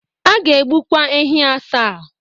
A ga-egbukwa ehi asaa.